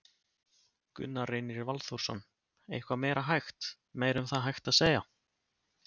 Gunnar Reynir Valþórsson: Eitthvað meira hægt, meira um það hægt að segja?